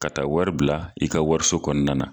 Ka taa wari bila i ka wariso kɔnɔna na